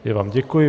Já vám děkuji.